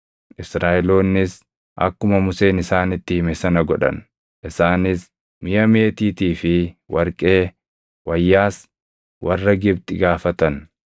Israaʼeloonnis akkuma Museen isaanitti hime sana godhan; isaanis miʼa meetiitii fi warqee, wayyaas warra Gibxi gaafatan.